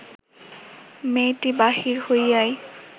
মেয়েটি বাহির হইয়াই